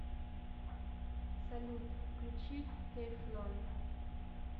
салют включи тефлон